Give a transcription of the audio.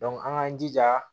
an k'an jija